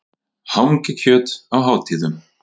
Hangikjöt á hátíðum.